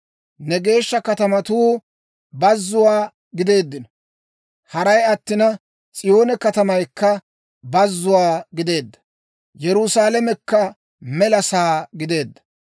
Ne geeshsha katamatuu bazzuwaa gideeddino; haray attina, s'iyoone katamaykka bazzuwaa gideedda; Yerusaalamekka mela sa'aa gideedda.